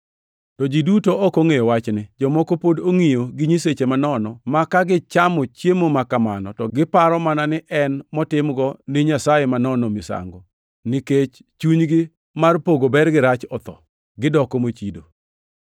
To ji duto ok ongʼeyo wachni. Jomoko pod ongʼiyo gi nyiseche manono ma ka gichamo chiemo makamano to giparo mana ni en motimnigo nyasaye manono misango; to nikech chunygi mar pogo ber gi rach otho, gidoko mochido.